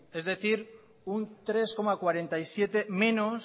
es decir un tres coma cuarenta y siete por ciento menos